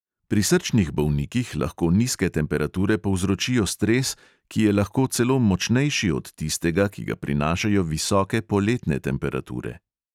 Pri srčnih bolnikih lahko nizke temperature povzročijo stres, ki je lahko celo močnejši od tistega, ki ga prinašajo visoke poletne temperature.